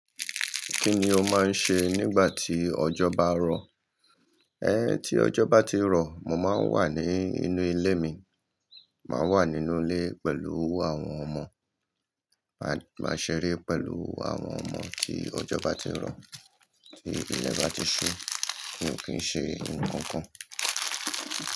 Kí ni o máa ń ṣe nígbà tí ọjọ́ bá rọ̀? Tí ọjọ́ bá ti rọ, mo máa ń wà ní inú ilé mi, màá wà nínú ilé pẹ̀lú àwọn ọmọ. Máa ṣe eré pẹ̀lú àwọn ọmọ tí ọjọ́ bá ti rọ̀, tí ilẹ̀ bá ti ṣú, n kìí ṣe nnkankan.